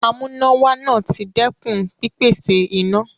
Amúnáwá náà ti dẹ́kun pípèsè iná.